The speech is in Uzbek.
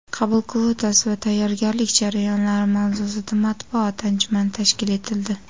qabul kvotasi va tayyorgarlik jarayonlari' mavzusida matbuot anjumani tashkil etildi.